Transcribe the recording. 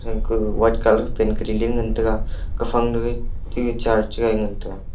gangku white colour paint kariley ngan taiga kaphang ke chuge chair chegai ngan taiga.